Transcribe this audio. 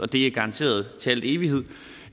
det er garanteret til al evighed